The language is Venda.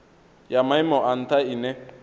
ya maimo a ntha ine